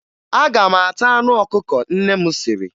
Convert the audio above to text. Aga m ata anụ ọkụkọ nne m siri